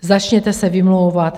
Začněte se vymlouvat...